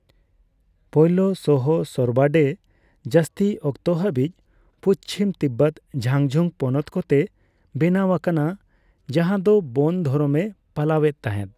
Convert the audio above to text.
ᱯᱳᱭᱞᱳ ᱥᱚᱦᱚᱥᱚᱨᱵᱟᱰᱮ ᱡᱟᱹᱥᱛᱤ ᱚᱠᱛᱚ ᱦᱟᱹᱵᱤᱡ ᱯᱩᱪᱷᱤᱢ ᱛᱤᱵᱵᱚᱛ ᱡᱷᱟᱝᱡᱷᱩᱝ ᱯᱚᱱᱚᱛ ᱠᱚ ᱛᱮ ᱵᱮᱱᱟᱣ ᱟᱠᱟᱱᱟ ᱡᱟᱦᱟ ᱫᱚ ᱵᱚᱱ ᱫᱷᱚᱨᱚᱢ ᱮ ᱯᱟᱞᱟᱣ ᱮᱫ ᱛᱟᱦᱮᱫ ᱾